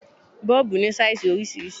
Bọ́ọ̀bù ní sáìsì oríṣiríṣi.